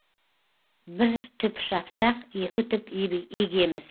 бір түп шапсақ екі түп егеміз